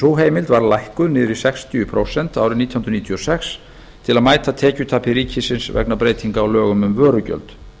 sú heimild var lækkuð niður í sextíu prósent árið nítján hundruð níutíu og sex til að mæta tekjutapi ríkisins vegna breytinga á lögum um vörugjald